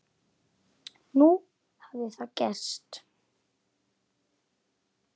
Nú hafði það gerst.